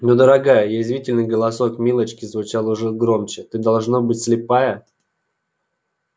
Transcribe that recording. ну дорогая язвительный голосок милочки звучал уже громче ты должно быть слепая